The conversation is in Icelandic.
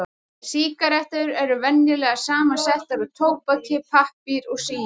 Sígarettur eru venjulega samsettar úr tóbaki, pappír og síu.